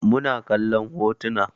Muna kallon hotuna